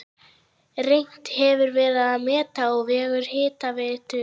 Reynt hefur verið að meta á vegum Hitaveitu